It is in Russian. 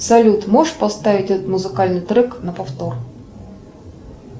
салют можешь поставить этот музыкальный трек на повтор